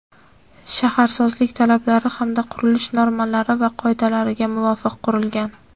shaharsozlik talablari hamda qurilish normalari va qoidalariga muvofiq qurilgan.